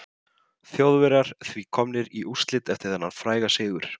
Viðbrögð við tónlist, bæði tilfinningaleg og önnur, eru bæði almenn og persónubundin.